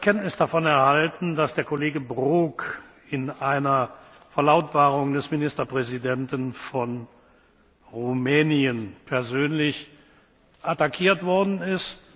Ich habe Kenntnis davon erhalten, dass der Kollege Brok in einer Verlautbarung des Ministerpräsidenten von Rumänien persönlich attackiert worden ist.